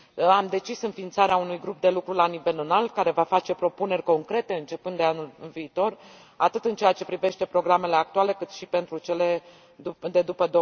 Am decis înființarea unui grup de lucru la nivel înalt, care va face propuneri concrete începând de anul viitor atât în ceea ce privește programele actuale, cât și pentru cele de după